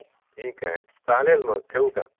ठीक आहे, चालेल मग ठेऊ का?